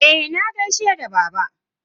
Eh, na gaishe da baba.